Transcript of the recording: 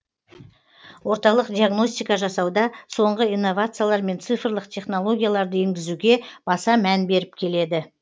орталық диагностика жасауда соңғы инновациялар мен цифрлық технологияларды енгізуге баса мән беріп келеді